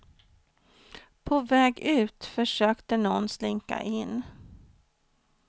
På väg ut försökte någon slinka in.